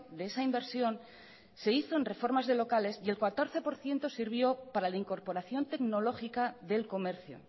de esa inversión se hizo en reformas de locales y el catorce por ciento sirvió para la incorporación tecnológica del comercio